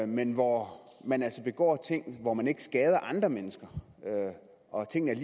men hvor man altså begår ting hvor man ikke skader andre mennesker og tingene er